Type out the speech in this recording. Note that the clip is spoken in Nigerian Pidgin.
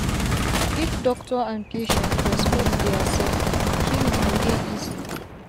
if doctor and patient respect dia sef healing go dey easi